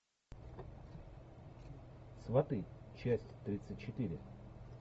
сваты часть тридцать четыре